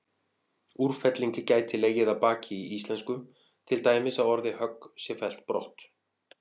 Úrfelling gæti legið að baki í íslensku, til dæmis að orðið högg sé fellt brott.